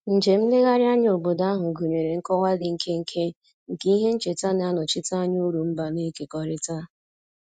Njem nlegharị anya obodo ahụ gụnyere nkọwa dị nkenke nke ihe ncheta na-anọchite anya uru mba na-ekekọrịta